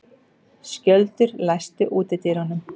Skjöldur, læstu útidyrunum.